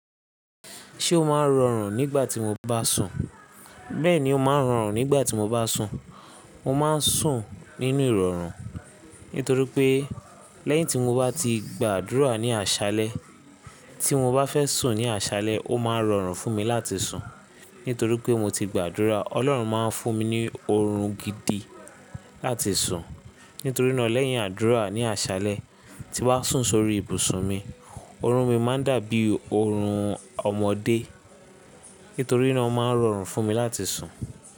Ṣé o máa ń rọrùn nígbà tí mo bá sùn? Bẹ́ẹ̀ni, ó máa ń rọrùn nígbà tí mo bá sùn. Mo máa ń sùn nínú ìrọ̀rùn, nítorí pé lẹ́yìn tí mo bá ti gbàdúrà ní àṣálẹ́, tí mo bá fẹ́ sùn ní àṣálẹ́, ó máa ń rọrùn fún mi láti sùn. Nítorí pé mo ti gbàdúrà, Ọlọ́run máa ń fún mi ní oorun gidi láti sùn. Nítorí náà lẹ́yìn àdúrà ní àṣálẹ́, tí mo bá sùn sórí ibùsùn mi, oorun mi máa ń dàbí oorun ọmọdé. Nítorí náà ó máa ń rọrùn fún mi láti sùn.